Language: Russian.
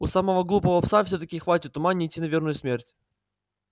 у самого глупого пса всё-таки хватит ума не идти на верную смерть